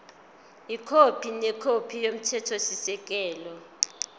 ikhophi nekhophi yomthethosisekelo